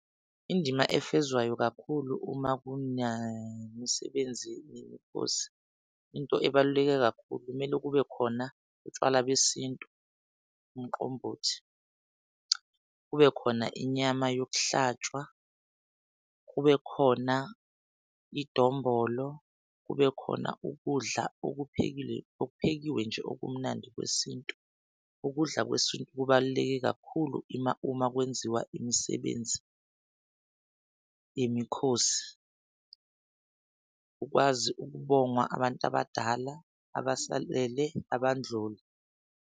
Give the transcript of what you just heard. Indima efezwayo kakhulu uma kune msebenzi yemikhosi into ebaluleke kakhulu kumele kube khona utshwala besintu, umqombothi kube khona inyama yokuhlatshwa. Kube khona idombolo, kube khona ukudla okuphekile okuphekiwe nje okumnandi kwesintu. Ukudla kwesintu kubaluleke kakhulu uma kwenziwa imisebenzi yemikhosi ukwazi ukubongwa abantu abadala abasalele abandlula.